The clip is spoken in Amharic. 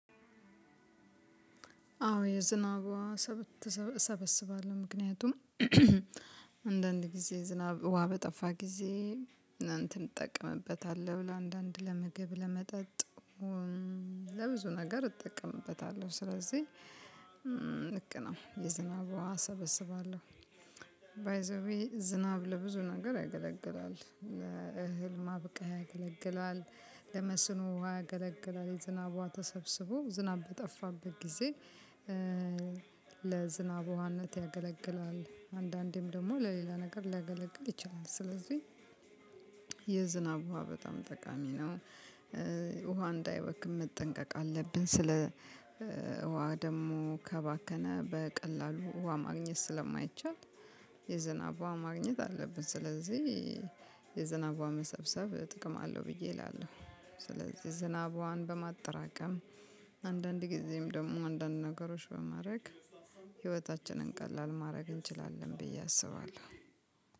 አዎ የዝናብ ወሀ እሰበሰባለሁ ምክንያቱም አንዳንድ ጊዜ ዝናብ ውሃ በጠፋ ጊዜ ለእንትን እጠቀምበታለሁ ለአንዳንድ ለመግብ ለመጠጥ ለብዙ ነገር እጠቀምበታለሁ። ስለዚህ ልክ ነው የዝናብ ወሀ እሰበስባለሁ። ባይ ዘ ዌይ ዝናብ ለብዙ ነገር ያገለግላል። እህል ማብቀል ያገለግላል ለመስኖ ያገለግላል የዝናብ ወሀ ተሰብስቦ ዝናብ በጠፋበት ጊዜ ለዝናብ ውሃነት ያገለግላል። አንዳንዴም ደግሞ ለሌላ ነገር ሊያገለግል ይችላል። ስለዚህ የዝናብ ውሃ በጣም ጠቃሚ ነው። ውሃ እንዳይባክን መጠንቀቅ አለብህ። ስለ ውሃ ደግሞ ከባከነ በቀላሉ ውሃ ማግኘት ስለማይቻል የዝናብ ዉሃ ማግኘት አለብን። ስለዚህ የዝናብ ውሃ መሰብሰብ ጥቅም አለው ብዬ እላለሁ። ስለዚህ የዝናብ ዉሃን በማጠራቀም አንዳንድ ጊዜም ደግሞ አንዳንድ ነገሮች በማድረግ ህይወታችንን ቀላል ማድረግ እንችላለን ብዬ አስባለሁ።